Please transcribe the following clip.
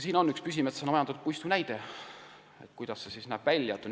Siin on näha ka üks pilt püsimetsana majandatud puistust, sellest, kuidas see välja näeb.